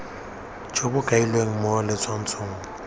jo bo kailweng mo letshwaong